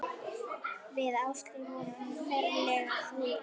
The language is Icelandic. Við Áslaug vorum ferlega fúlar.